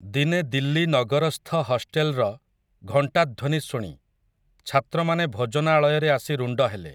ଦିନେ ଦିଲ୍ଲୀ ନଗରସ୍ଥ ହଷ୍ଟେଲ୍‌ର, ଘଣ୍ଟାଧ୍ୱନୀ ଶୁଣି, ଛାତ୍ରମାନେ ଭୋଜନାଳୟରେ ଆସି ରୁଣ୍ଡ ହେଲେ ।